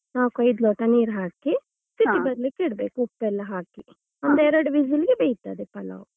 ನಾಲ್ಕು ಐದು ಲೋಟ ನೀರ್ ಹಾಕಿ ಬಿಸಿ ಬರ್ಲಿಕ್ಕೆ ಇಡ್ಬೇಕು ಉಪ್ಪು ಎಲ್ಲ ಹಾಕಿ ಮತ್ತೆ ಎರಡು whistle ಗೆ ಬೇಯ್ತದೆ ಪಲಾವ್.